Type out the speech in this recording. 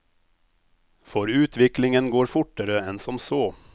For utviklingen går fortere enn som så.